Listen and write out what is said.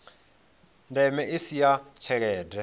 ndeme i si ya tshelede